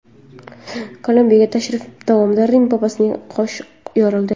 Kolumbiyaga tashrif davomida Rim papasining qoshi yorildi.